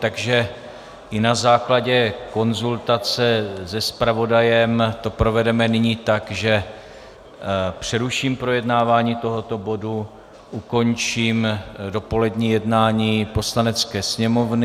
Takže i na základě konzultace se zpravodajem to provedeme nyní tak, že přeruším projednávání tohoto bodu, ukončím dopolední jednání Poslanecké sněmovny.